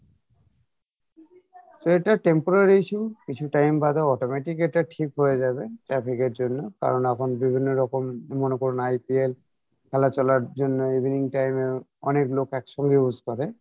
তো এটা temporary issue কিছু time বাদে automatic এটা ঠিক হয়ে যাবে traffic এর জন্য কারন এখন বিভিন্ন রকম মনে করুণ IPL খেলা চলার জন্য evening time এ অনেক লোক একসঙ্গে use করে